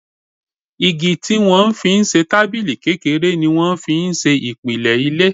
Igi tí wọ́n fi ń ṣe tábìlì kékeré ni wọ́n fi ń ṣe ìpìlẹ̀ ilé